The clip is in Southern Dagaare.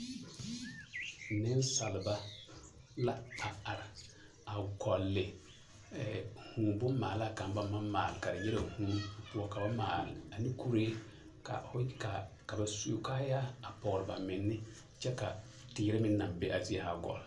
Neŋsalba la a are a gɔlle ɛɛ vūū bonmaalaa kaŋ baŋ maŋ maale kari nyɛ ka vūū wa ka ba maale ane kuree ka o ka ba su kaayaa a pɔgre ba menne kyɛ ka teere meŋ na be a zie zaa gɔle.